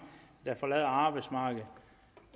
der forlader arbejdsmarkedet